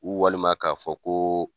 walima ka fɔ ko